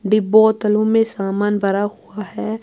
.ڈبوتولوں مے سامان بھرا ہوا ہیں